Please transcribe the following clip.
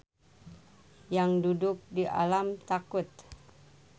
Yangduduk di alam takut.